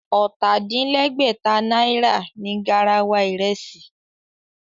Ọ̀tà-din-lẹ́gbẹ̀ta náírà ni garawa ìrẹsì